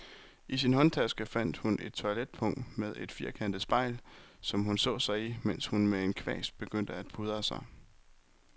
I sin håndtaske fandt hun et toiletpung med et firkantet spejl, som hun så sig i, mens hun med en kvast begyndte at pudre sig.